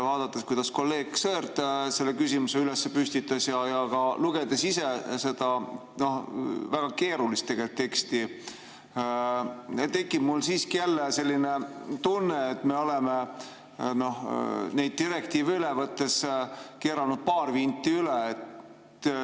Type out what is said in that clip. Vaadates, kuidas kolleeg Sõerd selle küsimuse püstitas, ja ka lugedes ise seda tegelikult väga keerulist teksti, tekkis mul siiski jälle selline tunne, et me oleme neid direktiive üle võttes keeranud paar vinti üle.